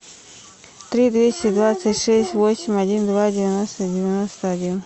три двести двадцать шесть восемь один два девяносто девяносто один